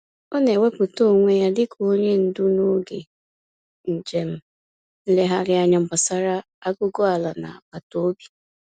Ọ na-ewepụta onwe ya dị ka onye ndu n'oge njem nlegharịanya gbasara aguguala n'agbataobi.